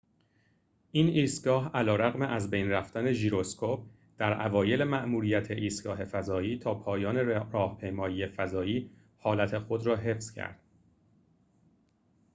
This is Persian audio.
این ایستگاه علیرغم از بین رفتن ژیروسکوپ در اوایل ماموریت ایستگاه فضایی تا پایان راهپیمایی فضایی حالت خود را حفظ کرد